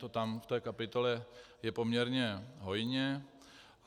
To tam v té kapitole je poměrně hojně.